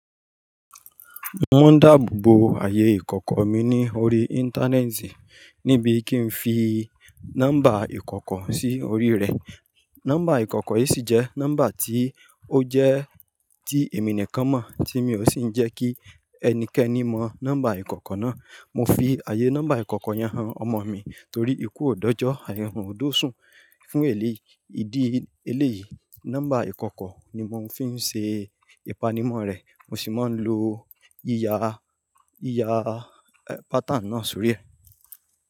Mo ma ń dáàbò bo ayé ìkọ̀kọ̀ mi ní orí Íńtánẹ́ẹ̀tì níbi kí n fi nọ́mbà ìkọ̀kọ̀ sí orí rẹ̀. Nọ́mbà ìkọ̀kọ̀ yìí sì jẹ́ nọ́mbà tí ó jẹ́ tí èmi nìkan mọ̀ tí mi ò sì ń jẹ kí ẹnikẹ́ni mọ nọ́mbà ìkọ̀kọ̀ náà. Mo fi ayé nọ́mbà ìkọ̀kọ̀ yẹn han ọmọ mi torí ikú ò dọ́jọ́, àìrùn ò doṣùn. Fún èlé ìdí eléyìí, nọ́mbà ìkọ̀kọ̀ ni mò ń fi ń se ìpanimọ̀ rẹ̀, mo sì máa ń lo íyaa, íyaa, ẹ, pátáni náà sórí ẹ.